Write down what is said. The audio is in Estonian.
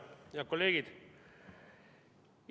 Head kolleegid!